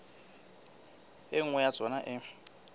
e nngwe ya tsona e